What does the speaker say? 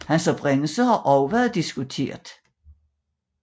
Hans oprindelse har også været diskuteret